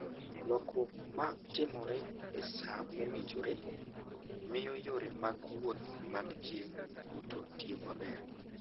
Lokruok ma timore e sa mowinjore, miyo yore mag wuoth mag ji duto tiyo maber.